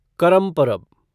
करम परब